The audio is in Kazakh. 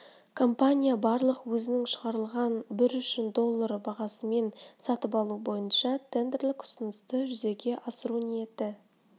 компания барлық өзінің шығарылған бір үшін доллары бағасымен сатып алу бойынша тендерлік ұсынысты жүзеге асыру ниеті